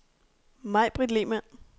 Maibritt Lehmann